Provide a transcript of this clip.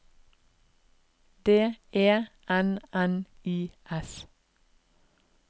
D E N N I S